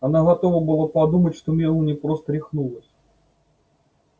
она готова была подумать что мелани просто рехнулась